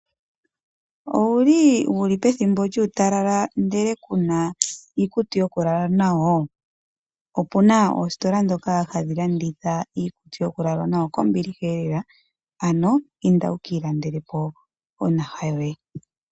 Owuli pethimbo lyuutalala ndele kuna iikutu yokulala nayo? Opuna oositola ndhoka hadhi landitha iikutu yokulala noyokombiliha elela, ano inda wuka ilandele po onaha yoye.